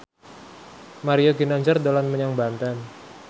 Mario Ginanjar dolan menyang Banten